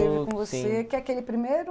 que é aquele primeiro...